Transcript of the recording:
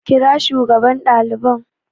Kira shugaban daliban